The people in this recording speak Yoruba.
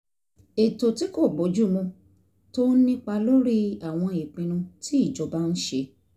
ètò tí kò bófin mu tó ń nípa lórí àwọn ìpinnu tí ìjọba ń ṣe